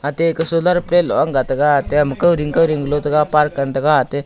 ate ka solar plate lo angga taga tem ma kao ding kao ding lo chega park ngan taega ate.